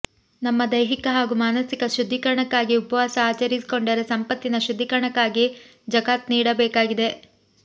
ನಮ್ಮ ದೈಹಿಕ ಹಾಗೂ ಮಾನಸಿಕ ಶುದ್ದಿಕರಣಕ್ಕಾಗಿ ಉಪವಾಸ ಆಚರಿಸಿಕೊಂಡರೆ ಸಂಪತ್ತಿನ ಶುದ್ಧೀಕರಣಕ್ಕಾಗಿ ಝಕಾತ್ ನೀಡಬೇಕಾಗಿದೆ